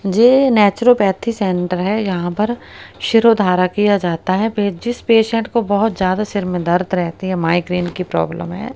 ये naturopathy centre है यहां पर शिरोधारा किया जाता है पे जिस पेशेंट को बहुत ज्यादा सर में दर्द रहती है माइग्रेन की प्रॉब्लम है।